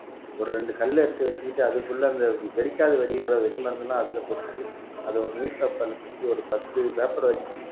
ஒரு ரெண்டு கல்லை எடுத்து வச்சுக்கிட்டு அதுக்குள்ள அந்த வெடிக்காத வெடியோட வெடி மருந்தெல்லாம் அதுல கொட்டி அதை ஒரு newspaper ல சுத்தி ஒரு பத்து paper வச்சு